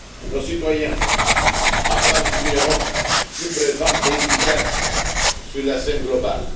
Nos citoyens attendent une Europe plus présente et efficace sur la scène mondiale.